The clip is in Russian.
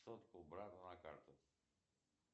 сотку брату на карту